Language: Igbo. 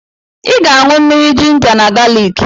I ga-aṅụ mmiri jinja na galiki.